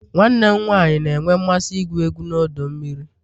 Nwanne m nwanyị na-enwe mmasị igwu egwu na ọdọ mmiri